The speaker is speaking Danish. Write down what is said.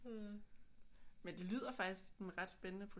Men det lyder faktisk sådan ret spændende